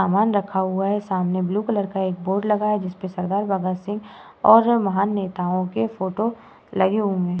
सामान रखा हुआ है। सामने ब्लू कलर एक बोर्ड लगा हुआ है। जिसमें सरदार बाबा सिंह और महान नेताओं के फोटो लगे हुए हैं।